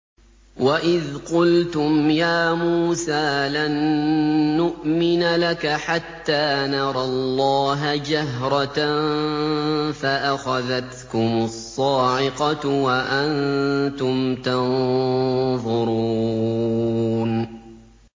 وَإِذْ قُلْتُمْ يَا مُوسَىٰ لَن نُّؤْمِنَ لَكَ حَتَّىٰ نَرَى اللَّهَ جَهْرَةً فَأَخَذَتْكُمُ الصَّاعِقَةُ وَأَنتُمْ تَنظُرُونَ